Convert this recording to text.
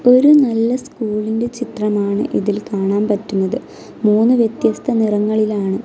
ഒരു നല്ല സ്കൂളിന്റെ ചിത്രമാണ് ഇതിൽ കാണാൻ പറ്റുന്നത് മൂന്ന് വ്യത്യസ്ത നിറങ്ങളിലാണ്.